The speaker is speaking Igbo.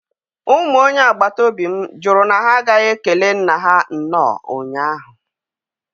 Ụmụ onye agbataobi m jụrụ na ha agaghi ekele nna ha nnọọ ụnyahụ.